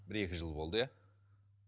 бір екі жыл болды иә